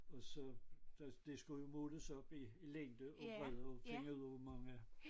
Og så da det skulle måles op i i længde og bredde for at finde ud af hvor mange